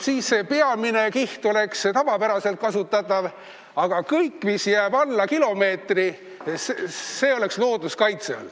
Peamine kiht oleks tavapäraselt kasutatav, aga kõik, mis jääb rohkem kui kilomeetri sügavusele, oleks looduskaitse all.